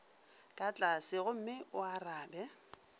ka tlase gomme o arabe